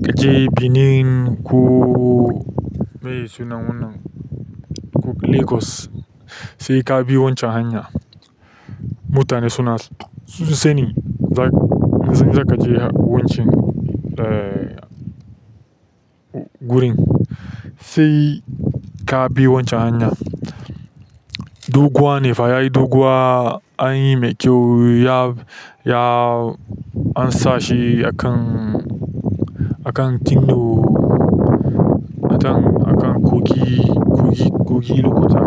kaje Benin ko me sunan wannan? Ko Lagos sai ka bi wancan hanyar. Mutane suna, sun sani za ki, in zaka je wancan, eh, wurin sai ka bi wancan hanyar. Doguwa ne fa yayi doguwa anyi mai kyau ya, ya an sa shi akan, akan kino, atan akan kogi, kogi, kogi lokoja.